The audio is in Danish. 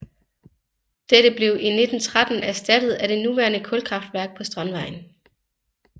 Dette blev i 1913 erstattet af det nuværende kulkraftværk på Strandvejen